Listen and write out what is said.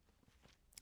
DR1